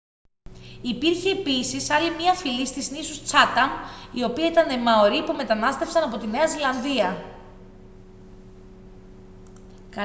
υπήρχε επίσης άλλη μια φυλή στις νήσους τσάταμ η οποία ήταν μαορί που μετανάστευσαν από τη νέα ζηλανδία